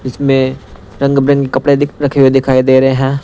जिसमें रंग बिरंगे कपड़े दिक रखे हुए दिखाई दे रहे हैं।